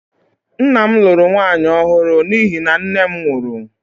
Nna m lụrụ nwaanyị ọhụrụ n’ihi na nne m nwụrụ